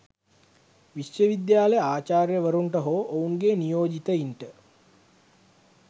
විශ්වවිද්‍යාල ආචාර්යවරුන්ට හෝ ඔවුන්ගේ නියෝජිතයින්ට